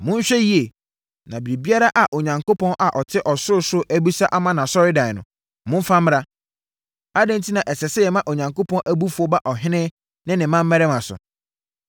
Monhwɛ yie, na biribiara a Onyankopɔn a ɔte ɔsorosoro abisa ama nʼasɔredan no, momfa mmra. Adɛn enti na ɛsɛ sɛ yɛma Onyankopɔn abufuo ba ɔhene ne ne mmammarima so?